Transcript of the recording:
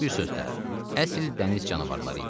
Bir sözlə, əsl dəniz canavarları idilər.